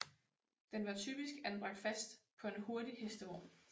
Den var typisk anbragt fast på en hurtig hestevogn